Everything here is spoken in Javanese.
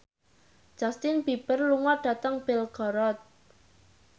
Justin Beiber lunga dhateng Belgorod